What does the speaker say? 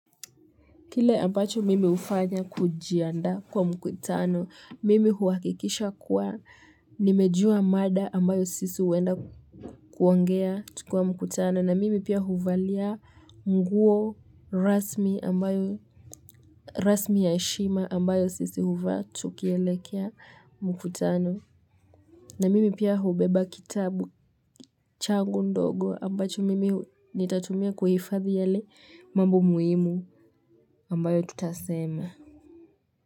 Kile ambacho mimi hufanya kujiandaa kwa mkutano, mimi huhakikisha kuwa nimejua mada ambayo sisi huenda kuongea tukiwa mkutano. Na mimi pia huvalia nguo rasmi ambayo rasmi ya heshima ambayo sisi huvaa tukielekea mkutano. Na mimi pia hubeba kitabu changu ndogo ambacho mimi nitatumia kuhifadhi yale mambo muhimu ambayo tutasema.